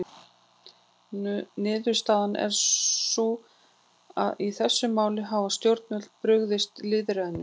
Niðurstaðan er því sú að í þessum máli hafa stjórnvöld brugðist lýðræðinu.